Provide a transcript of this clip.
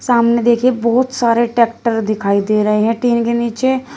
सामने देखिए बहुत सारे ट्रैक्टर दिखाई दे रहे हैं टीन के नीचे।